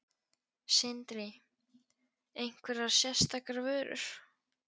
Sindri: Einhverjar sérstakar vörur?